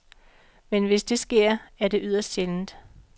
Men hvis det sker, er det yderst sjældent.